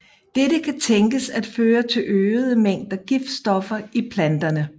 Dette kan tænkes at føre til øgede mængder giftstoffer i planterne